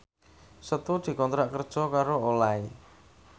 Setu dikontrak kerja karo Olay